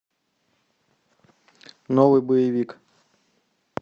новый боевик